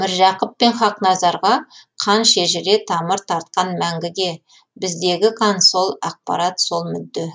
міржақып пен хақназарға қан шежіре тамыр тартқан мәңгіге біздегі қан сол ақпарат сол мүдде